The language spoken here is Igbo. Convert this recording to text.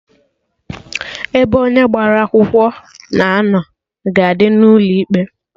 Ebe onye agbara akwụkwọ na-anọ ga-adị n'ụlọ ikpe